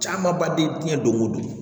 Camanba de ye diɲɛ don ko don